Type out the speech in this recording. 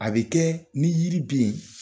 A bɛ kɛ ni yiri bɛ ye